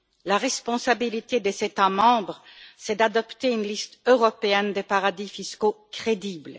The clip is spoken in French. La responsabilité des États membres, c'est d'adopter une liste européenne des paradis fiscaux crédible.